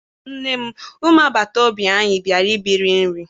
Nne m! umu agbata obi anyi bịara ibiri nri